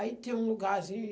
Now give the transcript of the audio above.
Aí tem um lugarzinho.